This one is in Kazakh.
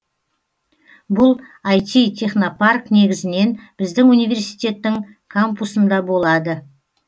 бұл айти технопарк негізінен біздің университеттің кампусында болады